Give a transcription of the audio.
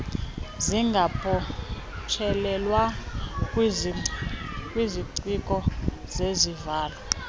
zingabotshelelwa kwiziciko zezivalo